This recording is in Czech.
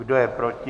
Kdo je proti?